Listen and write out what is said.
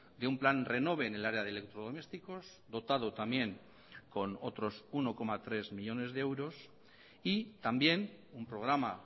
de un plan renove en el área de electrodomésticos dotado también con otros uno coma tres millónes de euros y también un programa